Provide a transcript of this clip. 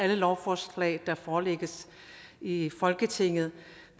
lovforslag der forelægges i i folketinget